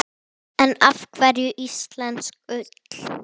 En af hverju íslensk ull?